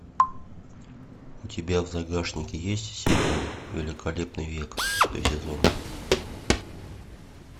у тебя в загашнике есть сериал великолепный век шестой сезон